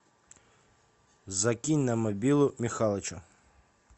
закинь на мобилу михалычу